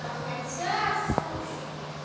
а хотя слушай